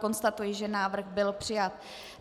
Konstatuji, že návrh byl přijat.